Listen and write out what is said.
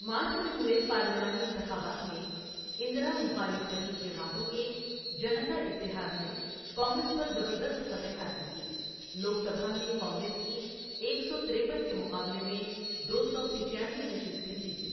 مارچ میں ہوئے پارلیمانی انتخابات میں، اندرا مخالف حریف جماعتوں کے جنتا اتحاد نے کانگریس پر زبردست فتح حاصل کی، لوک سبھا میں کانگریس کی ایک سو تِریپن کے مقابلے میں دو سو پچیانوے نشستیں جیتیں۔